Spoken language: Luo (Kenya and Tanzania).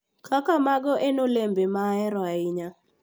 Kaka mango en olembe ma ahero ahinya,